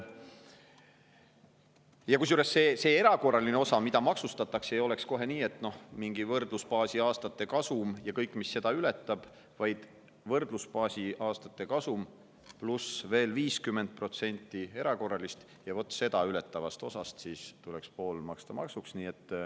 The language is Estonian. Kusjuures see erakorraline osa, mida maksustatakse, ei oleks mingi võrdlusbaasi aastate kasum ja kõik, mis seda ületab, vaid võrdlusbaasi aastate kasum pluss veel 50% erakorralist, ja seda ületavast osast tuleks pool maksta maksuks.